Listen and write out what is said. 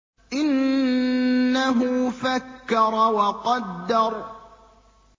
إِنَّهُ فَكَّرَ وَقَدَّرَ